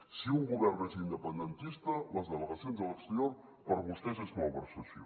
si un govern és independentista les delegacions a l’exterior per a vostès és malversació